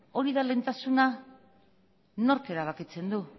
hori da lehentasuna nork erabakitzen du